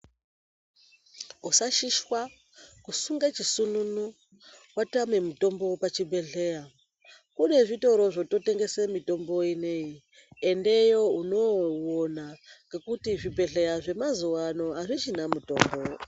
Usashishwa, kusunga chisununu, watame mutombo pachibhedhleya. Kune zvitoro zvototengesa mitombo ineyi, endeyo unoouwona. Ngekuti zvibhedhleya zvemazuwa ano azvichina mitombo.